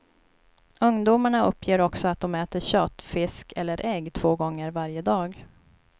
Ungdomarna uppger också att de äter kött, fisk eller ägg två gånger varje dag.